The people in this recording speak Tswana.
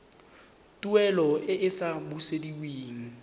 tuelo e e sa busediweng